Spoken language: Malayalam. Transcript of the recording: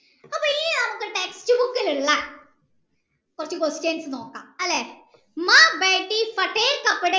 അപ്പൊ ഇനി നമ്മക് text book ലുള്ള കൊർച് question നോകാം അല്ലെ